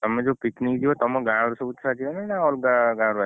ତମେ ଯୋଉ picnic ଜୀବ ତମ ଗାଁରୁ ସବୁ ଛୁଆ ଯିବେ ନା ଅଲଗା ଗାଁରୁ ଆସିବେ ?